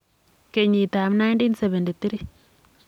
kenyitab 1973.